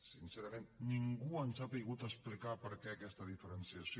sincerament ningú ens ha sabut explicar per què aquesta diferenciació